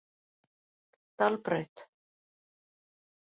Dalbraut